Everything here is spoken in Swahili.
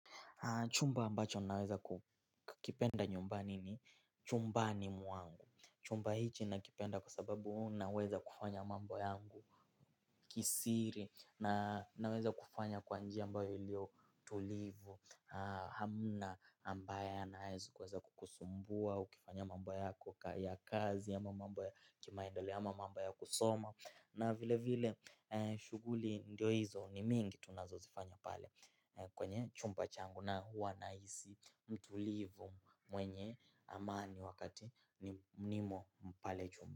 Chumba ambacho naweza kukipenda nyumbani ni chumbani mwangu. Chumba hichi nakipenda kwa sababu naweza kufanya mambo yangu kisiri na naweza kufanya kwa njia ambayo ilio tulivu. Hamna ambaye anaweza kukusumbua, ukifanya mambo yako ya kazi, ama mambo ya kimaendeleo ama mambo ya kusoma. Na vile vile shughuli ndio hizo ni mingi tunazozifanya pale kwenye chumba changu na huwa nahisi mtulivu mwenye amani wakati nimo mpale chumba.